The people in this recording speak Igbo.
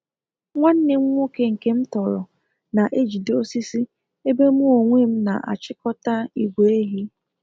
Nwanne m nwoke nke m tọrọ na ejide osisi ebe mụ onwe m na achịkọta igwe ehi